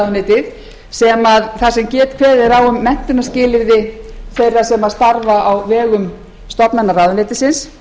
heyra undir umhverfisráðuneytið þar sem kveðið er á um menntunarskilyrði þeirra sem starfa á vegum stofnana ráðuneytisins